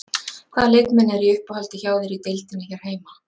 Hvaða leikmenn eru í uppáhaldi hjá þér í deildinni hér heima?